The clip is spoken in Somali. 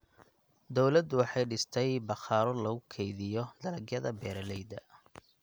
Dawladdu waxay dhistay bakhaaro lagu kaydiyo dalagyada beeralayda.